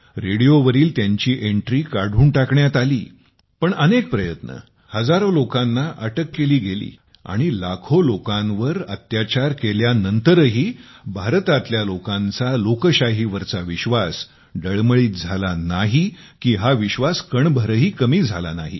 असे अनेक प्रकारचे प्रयत्न केले हजारो लोकांना अटक केली गेली आणि लाखों लोकांवर अत्याचार केल्यानंतरही भारतातल्या लोकांचा लोकशाहीवरचा विश्वास डळमळीत झाला नाही की हा विश्वास कणभरही कमी झाला नाही